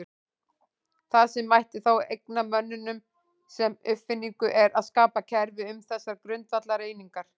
Það sem mætti þá eigna mönnum sem uppfinningu er að skapa kerfi um þessar grundvallareiningar.